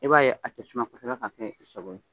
E b'a ye a kɛ tasuma kosɛbɛ ka kɛ i sago ye